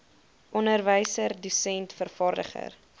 onderwyser dosent vervaardiger